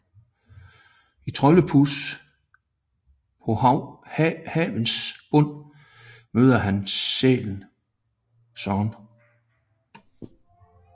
I Troldepus på Havsens bund møder han Søren sæl